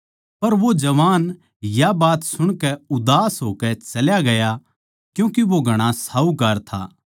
पर वो जवान या बात सुणकै उदास होकै चल्या गया क्यूँके वो घणा साहूकार था